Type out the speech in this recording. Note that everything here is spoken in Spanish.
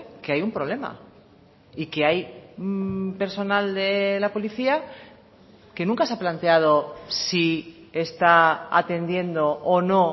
que hay un problema y que hay personal de la policía que nunca se ha planteado si está atendiendo o no